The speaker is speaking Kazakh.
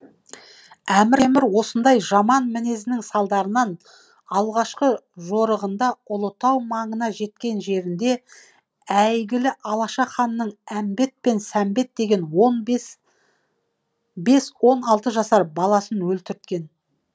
әмір осындай жаман мінезінің салдарынан алғашқы жорығында ұлытау маңына жеткен жерінде әйгілі алаша ханның әмбет пен сәмбет деген он бес бес он алты жасар баласын өлтірткен